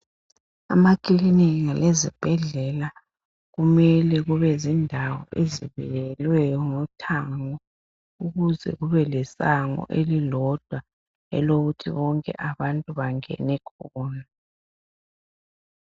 Emakilinika lezibhedlela kumele kube zindawo ezibiyelweyo ngothango ukuze kube lesango elilodwa elokuthi bonke abantu bangene khona